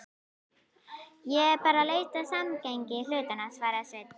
Ég er bara að leita að samhengi hlutanna, svaraði Sveinn.